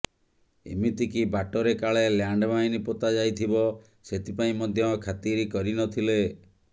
ଏମିତି କି ବାଟରେ କାଳେ ଲ୍ୟାଣ୍ଡମାଇନ୍ ପୋତାଯାଇଥିବ ସେଥିପାଇଁ ମଧ୍ୟ ଖାତିର କରିନଥିଲେ